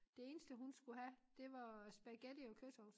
Det eneste hun skulle have det var spaghetti og kødsovs